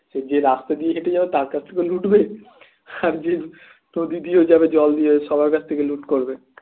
যে রাস্তা দিয়ে হেঁটে যাবে তার কাছ থেকেও লুটবে আর যে নদী দিয়ে যাবে জল দিয়ে ও সবার কাছ থেকে লুট করবে